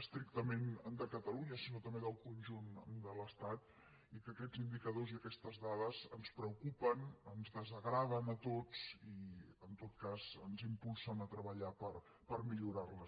estrictament de catalunya sinó també del conjunt de l’estat i que aquests indicadors i aquestes dades ens preocupen ens desagraden a tots i en tot cas ens impulsen a treballar per millorar les